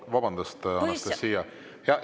Vabandust, Anastassia!